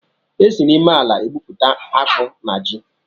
E si n'ime ala egbụpụta akpu na ji